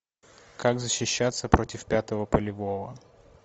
как защищаться против пятого полевого